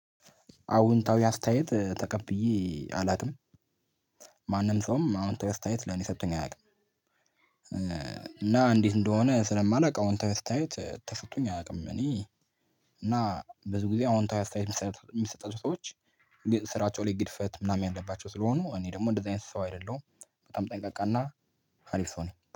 አዎንታዊ አስተያየት ተቀብዬ አላውቅም ማንም ሰውም አዎንታዊ አስተያየት ለኔ ሰጥቶኝ አያውቅም። እና እንዴት እንደሆነ ስለማላውቅ አሁን ተስታይት ተሰጥቶኝ አያውቅም። እኔ እና ብዙ ጊዜ አዎንታዊ አስተያየት የሚሰጡ ሰዎች ስራቸው ላይ ግድፈት ምናምን ያለባቸው ስለሆኑ እኔ ደግሞ እንደዚህ አይነት ሰው አይደለሁም። በጣም ጠንቀቃና ሀሪፍ ሰው ነኝ